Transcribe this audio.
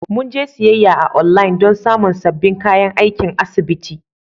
Mun je siyayya a online don samun sabbin kayan aikin asibiti.